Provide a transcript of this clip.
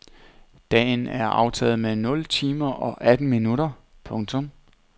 Dagen er aftaget med nul timer og atten minutter. punktum